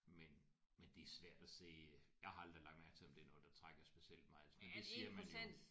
Men men det er svært at se jeg har aldrig lagt mærke til om det er noget der trækker specielt meget men det siger man jo